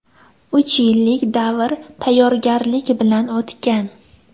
Uch yillik davr tayyorgarlik bilan o‘tgan.